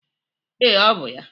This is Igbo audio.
Ee, ọ bụ ya.